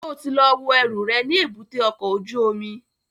Ṣo ti lọ wo ẹrù rẹ̀ ní èbúté ọkọ̀ ojú omi?